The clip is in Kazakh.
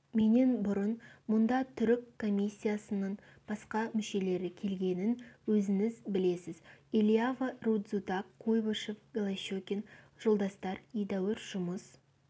менен бұрын мұнда түрік комиссияның басқа мүшелері келгенін өзіңіз білесіз элиава рудзутак куйбышев голощекин жолдастар едәуір жұмыс